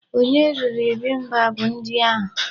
Onye riri bibimbap ndi a?